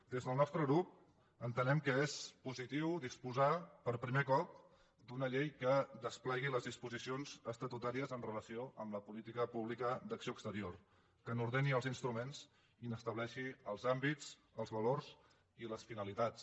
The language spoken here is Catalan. des del nostre grup entenem que és positiu disposar per primer cop d’una llei que desplegui les disposicions estatutàries amb relació a la política pública d’acció exterior que n’ordeni els instruments i n’estableixi els àmbits els valors i les finalitats